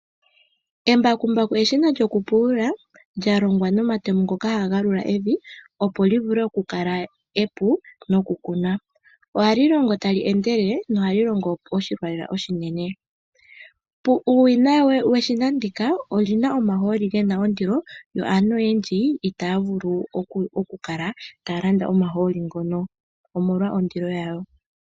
Embakumbaku eshina lyokupulula lyalongwa nomatemo ngoka haga galula evi opo liule okukala epu nawa nokukuna. Ohali longo tali endelele nohalyi longo oshilwa lela oshinene Puuwinayi weshina ndika olina omahooli gena ondili yoo aantu oyendji itaa vulu oku kala taya landa omahooli ngano omolwondili yago.